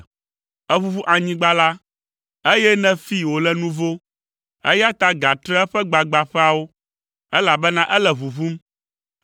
Èʋuʋu anyigba la, eye nèfee wòle nuvo, eya ta gatre eƒe gbagbãƒeawo, elabena ele ʋuʋum.